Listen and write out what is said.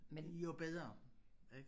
Jo bedre ik